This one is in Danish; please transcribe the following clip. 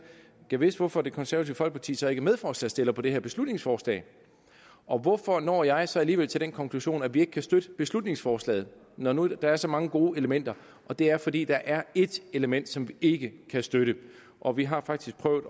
gad vidst hvorfor det konservative folkeparti så ikke er medforslagsstiller på det her beslutningsforslag og hvorfor når jeg så alligevel til den konklusion at vi ikke kan støtte beslutningsforslaget når nu der er så mange gode elementer det er fordi der er ét element som vi ikke kan støtte og vi har faktisk prøvet